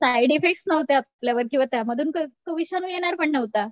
Side effects नव्हते आपल्यावर किंवा त्यामधून तो विषाणू येणार पण नव्हता.